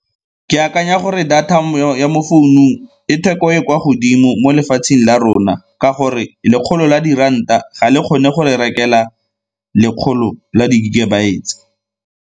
Ke akanya gore data ya mo founung e theko e e kwa godimo mo lefatsheng la rona ka gore lekgolo la diranta ga le kgone go re rekela lekgolo la di-gigabytes.